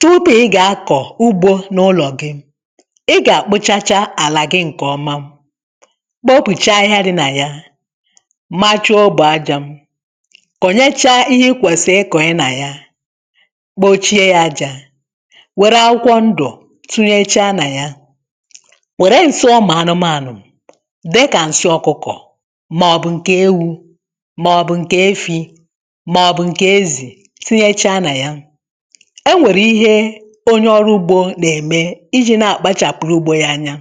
Tupu ị ga-akọ ugbo n’ụlọ gị, ị ga-akpụchacha ala gị nke ọma, kpopụchaa ahịhịa dị na ya, macha ogbo aja, kọnyechaa ihe ị kwesịrị ịkọnye na ya, kpochie ya aja, were akwụkwọ ndụ tunyechaa na ya, were nsị ụmụ anụmanụ, dịka nsị ọkụkọ, ma ọ bụ nke ewu ma ọ bụ nke efi, ma ọ bụ nke ezi tinyechaa na ya. E nwere ihe onye ọrụ ugbo na eme iji na-akpachapụrụ ugbo ya anya.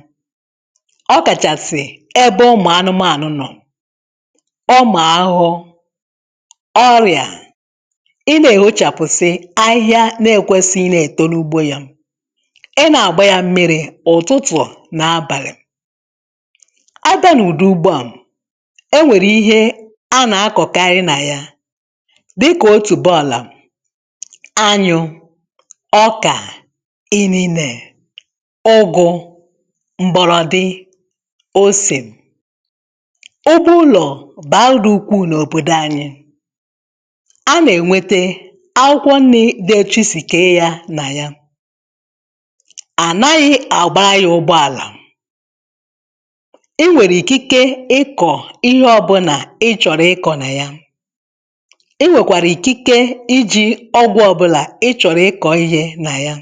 Ọ kachasị ebe ụmụ anụmanụ nọ, ụmụ ahụhụ, ọrịa, ị na-ehochapụsị ahịhịa na-ekwesighị ị na-eto n’ugbo ya, ị na-agba ya mmiri ụtụtụ na abalị. Abịa n’ụdị ugbo a, e nwere ihe a na-akọkari na ya dịka otubo ala, anyụ, ọka, inine, ụgụ, mgbọrọdị, ose. Ugbo ụlọ baa uru dị ukwu n’obodo anyị. A na-enwete akwụkwọ nni dị etu chi si kee ya na ya. Anaghị agbara ya ụgbọala. Ị nwere ikike ịkọ ihe ọbụla ị chọrọ ịkọ na ya. Ị nwekwara ikike iji ọgwụ ọbụla ị chọrọ ịkọ ihe na ya.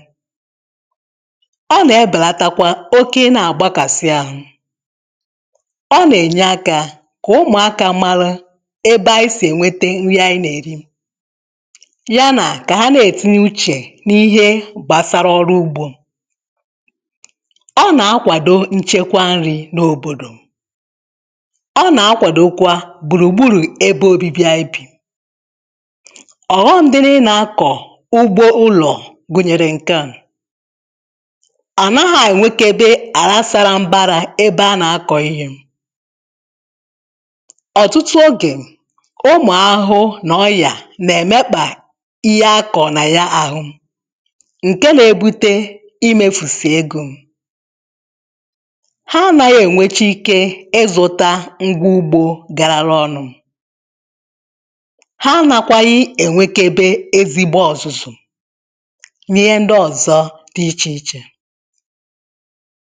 Ọ na-ebelatakwa oke ị na-agbakasị ahụ. Ọ na-enye aka ka ụmụaka malụ ebe anyị si enwete ihe anyị na-eri, ya na ka ha na-etinye uche n’ihe gbasara ọrụ ugbo. Ọ na-akwado nchekwa nri n’obodo. Ọ na-akwadokwa gburu gburu ebe obibi anyị bi. Ọghọm dị n’ịna-akọ ugbo ụlọ gụnyere nke a: a naghị enwekebe ala sara mbara ebe a na-akọ ihe. Ọtụtụ oge, ụmụ ahụhụ na ọya na-emekpa ihe akọrọ na ya ahụ nke na-ebute imefusi ego. Ha anaghị enwecha ike ịzụta ngwa ugbo garara ọnụ. Ha anakwaghị enwekebe ezigbo ọzụzụ na ihe ndị ọzọ dị iche iche.